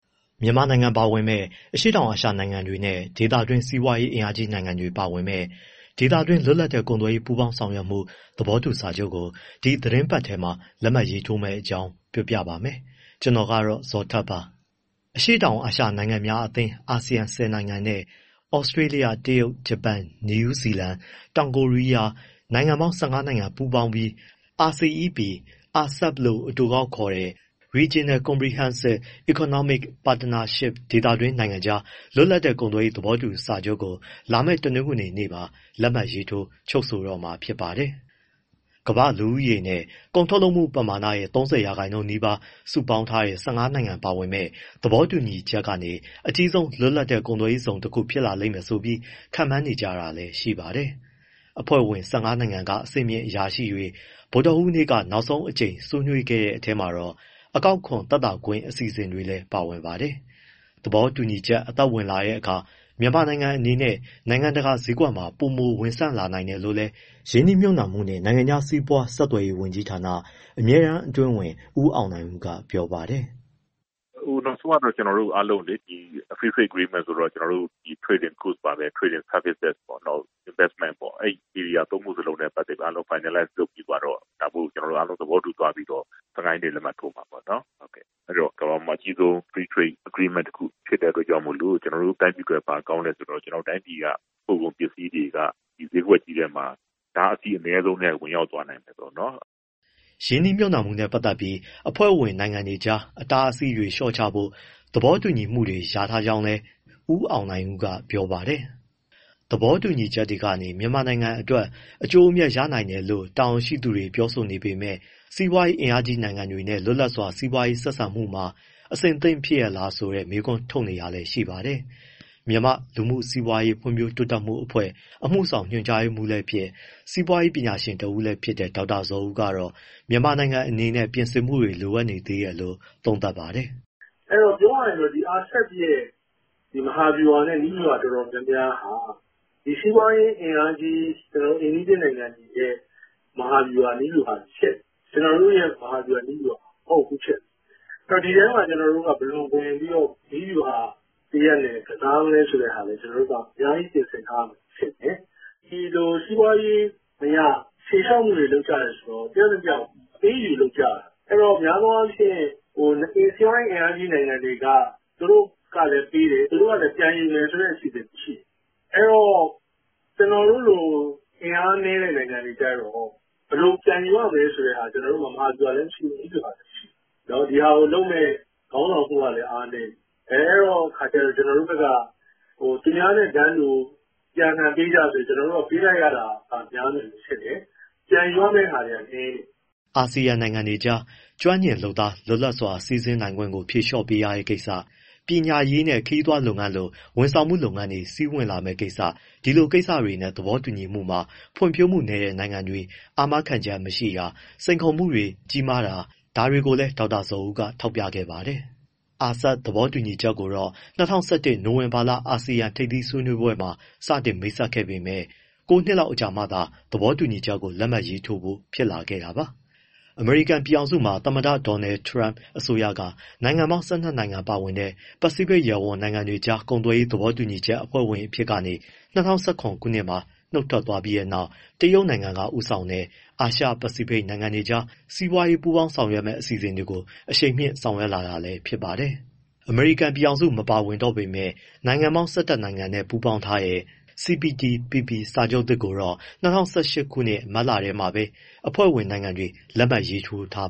မြန်မာနိုင်ငံ အပါအဝင် အရှေ့တောင်အာရှ နိုင်ငံတွေနဲ့ ဒေသတွင်း စီးပွားရေးအင်အားကြီးနိုင်ငံတွေ ပါဝင်မယ့် ဒေသတွင်း လွတ်လပ်တဲ့ ကုန်သွယ်ရေး ပူးပေါင်းဆောင်ရွက်မှု သဘောတူစာချုပ်ကို ဒီသီတင်းပတ်ထဲ လက်မှတ်ရေးထိုးမယ့်အကြောင်း ပြောပြပါမယ်။ ဗွီအိုအေမြန်မာပိုင်းသတင်းထောက် ဇော်ထက်က သတင်းပေးပို့ထားပါတယ်။ အရှေ့တောင်အာရှ နိုင်ငံများအသင်း ASEAN ၁၀ နိုင်ငံနဲ့ ဩစတြေးလျ၊ တရုတ်၊ ဂျပန်၊ နယူးဇီလန်၊ တောင်ကိုရီးယား နိုင်ငံပေါင်း ၁၅ နိုင်ငံ ပူးပေါင်းပြီး RCEP လို့ အတိုကောက်ခေါ်တဲ့ Regional Comprehensive Economic Partnership ဒေသတွင်း နိုင်ငံတွေကြား လွတ်လပ်တဲ့ ကုန်သွယ်ရေး သဘောတူညီမှုစာချုပ်ကို လာမယ့် တနင်္ဂနွေမှာ လက်မှတ်ရေးထိုး ချုပ်ဆိုတော့မှာဖြစ်ပါတယ်။ ကမ္ဘာ့လူဦးရေနဲ့ ကုန်ထုတ်လုပ်မှုပမာဏရဲ့ ၃၀ ရာခိုင်နှုန်းနီးပါး စုပေါင်းထားတဲ့ ၁၅ နိုင်ငံ ပါဝင်မယ့် သဘောတူညီချက်ကနေ အကြီးဆုံး လွတ်လပ်တဲ့ ကုန်သွယ်ရေးဇုံတခုဖြစ်လာလိမ့်မယ်ဆိုပြီး ခန့်မှန်းနေကြတာလည်း ရှိပါတယ်။ အဖွဲ့ဝင် ၁၅ နိုင်ငံက အဆင့်မြင့် အရာရှိတွေ ဗုဒ္ဓဟူးနေ့က နောက်ဆုံးအကြိမ် ဆွေးနွေးခဲ့တဲ့ အထဲမှာတော့ အကောက်ခွန် သက်သာခွင့် အစီအစဉ်တွေလည်း ပါဝင်ပါတယ်။ သဘောတူညီချက် အသက်ဝင်လာတဲ့အခါ မြန်မာနိုင်ငံအနေနဲ့ နိုင်ငံတကာ ဈေးကွက်မှာ ပိုမိုဝင်ဆန့်လာနိုင်တယ်လို့လည်း ရင်းနှီးမြှုပ်နှံမှုနဲ့ နိုင်ငံခြားစီးပွား ဆက်သွယ်ရေးဝန်ကြီးဌာန အမြဲတမ်း အတွင်းဝန် ဦးအောင်နိုင်ဦးက ဗွီအိုအေကို ပြောပါတယ်။ “ နောက်ဆုံးကတော့ ကျနော်တို့အားလုံး agreement ( သဘောတူညီမှု) က trade and goods ၊ trade and services ပါပဲ၊ investment ပေါ့ အဲဒီ area သုံးခုစလုံးနဲ့ပတ်သက်ပြီး အားလုံး finalize လုပ်ပြီးသွားတော့ အားလုံးသဘောတူသွားပြီးတော့ ၁၅ ရက်နေ့ လက်မှတ်ထိုးမှာပေါ့နော်။ အဲဒီတော့ ကမ္ဘာပေါ်မှာ အကြီးဆုံး Free Trade Agreement- FTA တခု ဖြစ်တဲ့အတွက်ကြောင့်မို့ ကျနော်တို့ တိုင်းပြည်အတွက် ဘာကောင်းလဲဆိုတော့ ပို့ကုန်ပစ္စည်းတွေက ဒီဈေးကွက်ကြီးထဲမှာ အတားအဆီးအနည်းဆုံးနဲ့ ဝင်ရောက်သွားနိုင်တယ်ပေါ့နော်။” ရင်းနှီးမြှုပ်နှံမှုနဲ့ ပတ်သက်ပြီး အဖွဲ့ဝင်နိုင်ငံတွေကြား အတားအဆီးတွေ လျှော့ချဖို့ သဘောတူညီမှုတွေ ရထားကြောင်းလည်း ဦးအောင်နိုင်ဦးကပြောပါတယ်။ သဘောတူညီချက်ကနေ မြန်မာနိုင်ငံအတွက် အကျိုးအမြတ်ရနိုင်တယ်လို့ တာဝန်ရှိသူတွေ ပြောဆိုနေပေမဲ့ စီးပွားရေး အင်အားကြီး နိုင်ငံတွေနဲ့ လွတ်လပ်စွာ စီးပွားရေးဆက်ဆံမှုတွေမှာ အဆင်သင့်ဖြစ်ရဲ့လားဆိုတာကို မေးခွန်းထုတ်တာတွေလည်း ရှိပါတယ်။ မြန်မာ့လူမှုစီးပွား ဖွံ့ဖြိုးတိုးတက်ရေးအဖွဲ့ အမှုဆောင်ညွှန်ကြားရေးမှူးလည်းဖြစ် စီးပွားရေး ပညာရှင်တဦးလည်းဖြစ်တဲ့ ဒေါက်တာဇော်ဦးကတော့ မြန်မာနိုင်ငံအနေနဲ့ ပြင်ဆင်မှုတွေ လိုအပ် နေသေးတယ်လို့ သုံးသပ်ပါတယ်။ “ ပြောရမယ်ဆိုရင် RCEP ရဲ့ မဟာဗျူဟာနဲ့ နည်းဗျူဟာအတော်များများဟာ စီးပွားရေးအင်အားကြီး အိမ်နီးချင်းနိုင်ငံတွေရဲ့ မဟာဗျူဟာ နည်းဗျူူဟာတွေ ဖြစ်နေတယ်၊ ကျနော်တို့ရဲ့ မဟာဗျူဟာ မဟုတ်ဘူးဖြစ်နေတယ်၊ ဒီထဲမှာ ကျနော်တို့ ဝင်ပြီးတော့ နည်းဗျူဟာ တရပ်အနေနဲ့ ကစားမလဲဆိုတဲ့ဟာ အများကြီးပြင်ဆင်ထားရမယ် ထင်တယ်။ ဒီလို စီးပွားရေးအရ ဖြေလျှော့မှုတွေ လုပ်ကြတယ်ဆိုတော့ တယောက်နဲ့တယောက် အပေးအယူ လုပ်ကြတာ၊ အဲဒီတော့ များသောအားဖြင့် စီးပွားရေး အင်အားကြီးနိုင်ငံတွေက သူတို့ကလည်းပေးတယ်၊ သူတို့ကလည်း ပြန်ယူမယ်ဆိုတဲ့ အခြေအနေရှိတယ်။ အဲဒီတော့ ကျနော်တို့လို အင်အားနည်းတဲ့ နိုင်ငံတွေကျတော့ ဘယ်လိုပြန်ယူရမယ်ဆိုတာ ကျနော်တို့မှာ မဟာဗျူဟာလည်း မရှိဘူး၊ နည်းဗျူဟာလည်း မရှိဘူး။ ဒီဟာကိုလုပ်မယ့် ခေါင်းဆောင်မှုကလည်း အားနည်းတယ်။ အဲဒီတော့ ကျတော်တို့ဘက်က သူများနဲ့ တန်းတူ အပြန်အလှန်ပေးကြဆိုရင် ပေးလိုက်ရတာက များမယ်လို့ထင်တယ်၊ ပြန်ယူရမယ့်ဟာတွေက နည်းတယ်။” အာဆီယံနိုင်ငံတွေကြား ကျွမ်းကျင်လုပ်သား လွတ်လပ်စွာသွားလာ စီးဆင်းနိုင်ခွင့်ကို ဖြေလျှော့ပေးရတဲ့ကိစ္စ၊ ပညာရေးနဲ့ ခရီးသွားလုပ်ငန်းလို ဝန်ဆောင်မှု လုပ်ငန်းတွေ စီးဝင်လာမယ့်ကိစ္စ ဒီလိုကိစ္စတွေနဲ့ သဘောတူညီမှုမှာ ဖွံ့ဖြိုးမှုနည်းတဲ့ နိုင်ငံတွေ အာမခံချက်တွေ မရှိတာ၊ စိန်ခေါ်မှုတွေ ကြီးမားနိုင်တယ်လို့လည်း ဒေါက်တာဇော်ဦးက ထောက်ပြခဲ့ပါတယ်။ RCEP သဘောတူညီချက်ကိုတော့ ၂၀၁၁ ခုနှစ် နိုဝင်ဘာလ အာဆီယံ ထိပ်သီးဆွေးနွေးပွဲမှာ စတင်မိတ်ဆက်ခဲ့ပေမဲ့ ၉ နှစ်လောက် ကြာမှသာ သဘောတူညီချက်ကို လက်မှတ်ရေးထိုးဖို့ ဖြစ်လာခဲ့တာပါ။ အမေရိကန် ပြည်ထောင်စုမှာ သမ္မတ Donald Trump အစိုးရက နိုင်ငံပေါင်း ၁၂ နိုင်ငံ ပါဝင်တဲ့ ပစိတ်ဖိတ်ရပ်ဝန်း နိုင်ငံတွေကြား ကုန်သွယ်ရေး သဘောတူညီချက် အဖွဲ့ဝင်အဖြစ်ကနေ ၂၀၁၇ ခုနှစ်မှာ နုတ်ထွက်သွားခဲ့ပြီးနောက် တရုတ်နိုင်ငံက ဦးဆောင်တဲ့ အာရှ၊ ပစိဖိတ်ဒေသ နိုင်ငံတွေကြား စီးပွားရေးပူးပေါင်းဆောင်ရွက်မယ့် အစီအစဉ်ကို အရှိန်မြှင့် ဆောင်ရွက်လာတာလည်း ဖြစ်ပါတယ်။ အမေရိကန် ပြည်ထောင်စု မပါဝင်တော့ပဲ နိုင်ငံပေါင်း ၁၁ နိုင်ငံနဲ့ ပူးပေါင်းထားတဲ့ CPTPP စာချုပ်သစ်ကိုတော့ ၂၀၁၈ ခုနှစ် မတ်လထဲမှာပဲ အဖွဲ့ဝင်နိုင်ငံတွေ လက်မှတ်ရေးထိုးထား